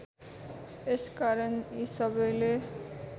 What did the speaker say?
यसकारण यी सबैले